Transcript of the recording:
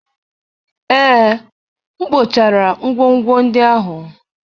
Ee, m kpochara ngwongwo ndị ahụ.